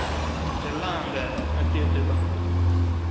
மிச்ச எல்லாம் அங்க கட்டி வச்சு இருபாங்க